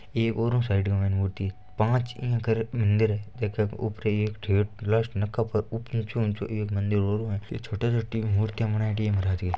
एक ओरु साइड के मायने मूर्ति पांच मंदिर है एक मंदिर है जेके ऊपर एक एक मंदिर और है ये छोटा छोटा मूर्तियां बनायेड़ी है महाराज की --